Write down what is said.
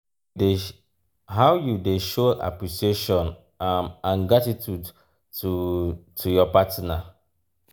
how you dey show appreciation um and gratitude to to your partner?